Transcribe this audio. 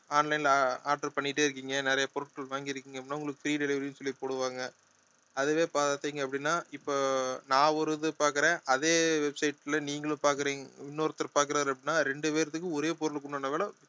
online ல அஹ் order பண்ணிட்டே இருக்கீங்க நிறைய பொருட்கள் வாங்கி இருக்கீங்க அப்படின்னா உங்களுக்கு free delivery ன்னு சொல்லி போடுவாங்க அதுவே பார்த்தீங்க அப்படின்னா இப்போ நான் ஒரு இது பார்க்கிறேன் அதே website ல நீங்களும் பார்க்கிறீங்க இன்னொருத்தர் பார்க்கிறார் அப்படின்னா ரெண்டு பேர்த்துக்கும் ஒரே பொருளுக்கு உண்டான விலை